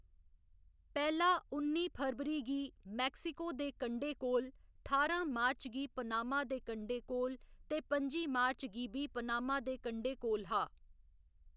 पैह्‌‌ला उन्नी फरवरी गी मैक्सिको दे कंढे कोल, ठारां मार्च गी पनामा दे कंढे कोल ते पं'जी मार्च गी बी पनामा दे कंढे कोल हा।